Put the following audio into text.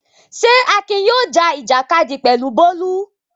Ṣé Akin yóò já ìjàkadì pẹ̀lú Bólú?